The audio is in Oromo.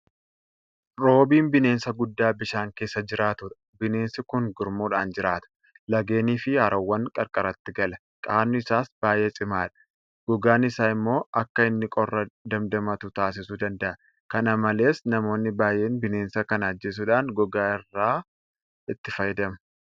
Roobiin bineensa guddaa bishaan keessa jiraatudha. Bineensi kun gurmuudhaan jiraata. Laggeeniifi haroowwan qarqaratti gala. Qaamni isaas baay'ee cimaadha. Gogaan isaa immoo akka inni qorra damdamatu taasisuu danda'a. Kana malees namoonni baay'een bineensa kana ajjeesuudhaan gogaa isaa itti fayyadamu.